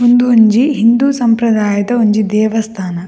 ಉಂದೊಂಜಿ ಹಿಂದು ಸಂಪ್ರದಾಯದ ಒಂಜಿ ದೇವಸ್ಥಾನ.